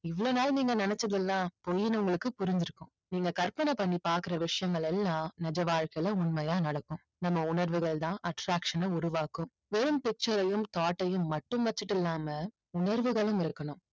இவ்வளவு நாள் நீங்க நினைச்சதெல்லாம் பொய்ன்னு உங்களுக்கு புரிஞ்சிருக்கும். நீங்க கற்பனை பண்ணி பாக்கிற விஷயங்கள் எல்லாம் நிஜ வாழ்க்கையில உண்மையா நடக்கும். நம்ம உணர்வுகள் தான் attraction அ உருவாக்கும். வெறும் picture ஐயும் thought ஐயும் மட்டும் வச்சிட்டில்லாம உணர்வுகளும் இருக்கணும்.